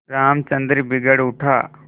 रामचंद्र बिगड़ उठा